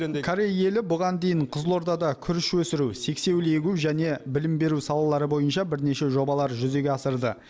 корей елі бұған дейін қызылордада күріш өсіру сексеуіл егу және білім беру салалары бойынша бірнеше жобалар жүзеге асырды